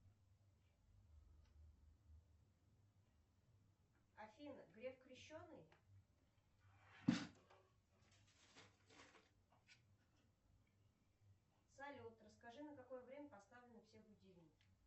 афина греф крещеный салют расскажи на какое время поставлены все будильники